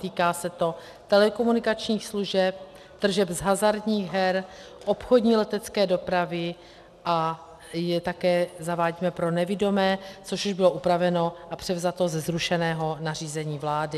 Týká se to telekomunikačních služeb, tržeb z hazardních her, obchodní letecké dopravy a také je zavádíme pro nevidomé, což už bylo upraveno a převzato ze zrušeného nařízení vlády.